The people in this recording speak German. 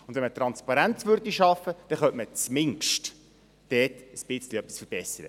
Wenn man Transparenz schaffen würde, könnte man dort mindestens etwas verbessern.